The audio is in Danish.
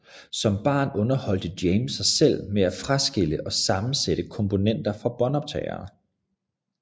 Som barn underholdte James sig selv med at fraskille og sammensætte komponenter fra båndoptagere